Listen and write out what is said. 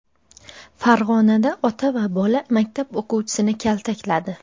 Farg‘onada ota va bola maktab o‘quvchisini kaltakladi.